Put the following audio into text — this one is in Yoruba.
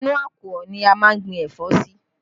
Inú àkùọ̀ ni a máa ń gbìn ẹ̀fọ́ sí